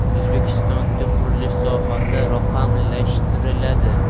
O‘zbekistonda qurilish sohasi raqamlashtiriladi.